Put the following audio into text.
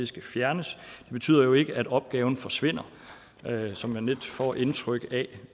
skal fjernes det betyder jo ikke at opgaven forsvinder sådan som man lidt får indtrykket af